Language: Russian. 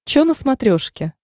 че на смотрешке